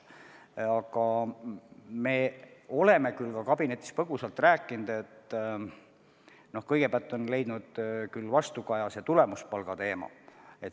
Aga me oleme ka kabinetis põgusalt rääkinud, et vastukaja on leidnud tulemuspalga teema.